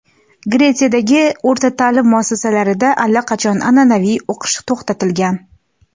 Gretsiyadagi o‘rta ta’lim muassasalarida allaqachon an’anaviy o‘qish to‘xtatilgan.